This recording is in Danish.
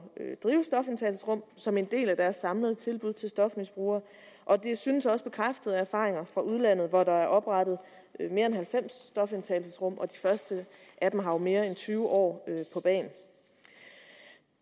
drive stofindtagelsesrum som en del af deres samlede tilbud til stofmisbrugere og det synes også bekræftet af erfaringer fra udlandet hvor der er oprettet mere end halvfems stofindtagelsesrum og de første af dem har jo mere end tyve år på bagen